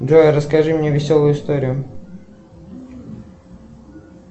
джой расскажи мне веселую историю